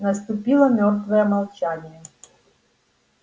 наступило мёртвое молчание